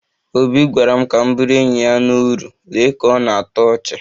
Obi gwara m ka m bụrụ enyi ya na uru, lee ka ọ na-atọ ọchị